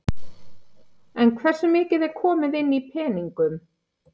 En hvernig virkar eldamennskan hjá Ólafi?